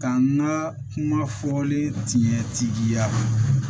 Ka n ka kuma fɔlen tiɲɛtigiya